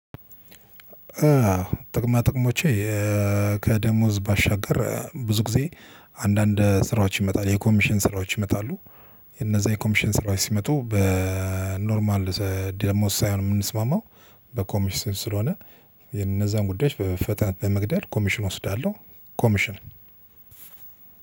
አዎ ጥቅማ ጥቅሞቼ ከደሞዝ ባሻገር ብዙ ጊዜ አንዳንድ ስራዎች ይመጣሉ የኮሚሽን ስራዎች ይመጣሉ። እነዛ የኮሚሽን ስራዎች ሲመጡ በኖርማል ደሞዝ ሳይሆን የምንስማማው በኮሚሽን ስለሆነ የነዛን ጉዳዮች በፍጥነት በመግደል ኮሚሽን እወስዳለሁ። ኮሚሽን